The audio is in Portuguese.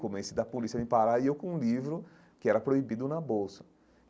Comecei da polícia a me parar e eu com um livro que era proibido na bolsa.